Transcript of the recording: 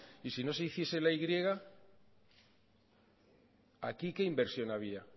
y si no se hiciese la y aquí qué inversión habría